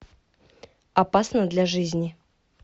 опасно для жизни